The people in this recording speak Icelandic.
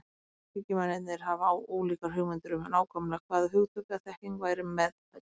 Rökhyggjumennirnir höfðu ólíkar hugmyndir um nákvæmlega hvaða hugtök eða þekking væri meðfædd.